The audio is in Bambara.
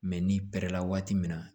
n'i pɛrɛ la waati min na